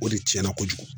O de tiɲɛna kojugu